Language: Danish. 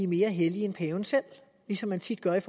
mere hellige end paven selv ligesom det tit gøres